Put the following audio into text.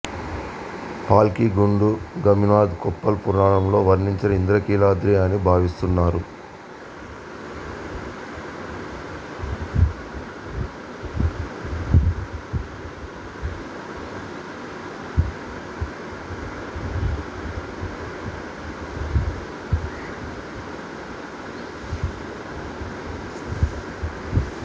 పాల్కిగుండు గవిమథ్ కొప్పల్ పురాణాలలో వర్ణించిన ఇంద్రకీలాద్రి అని భావిస్తున్నారు